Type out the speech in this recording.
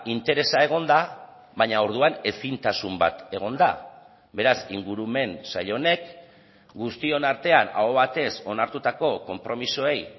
interesa egonda baina orduan ezintasun bat egon da beraz ingurumen sail honek guztion artean aho batez onartutako konpromisoei